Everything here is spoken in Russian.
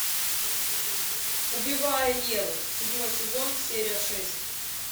убивая еву седьмой сезон серия шесть